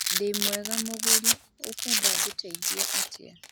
Ndimwega mũguri ũkwenda ngũteithie atĩa